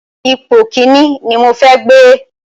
Ipò Kínní ni mo fẹ́ gbé.